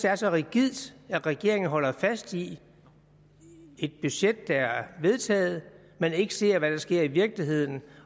er så rigidt at regeringen holder fast i et budget der er vedtaget men ikke ser hvad der sker i virkeligheden